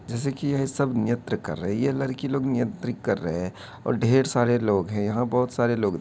जैसे की यह सब नृत्य कर रही है ये लड़की लोग नृत्य कर रहे हैं और ढेर सारे लोग हैं। यहाँ बहोत सारे लोग --